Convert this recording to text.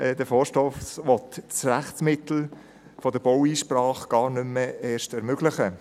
Der Vorstoss will das Rechtsmittel der Baueinsprache erst gar nicht mehr ermöglichen.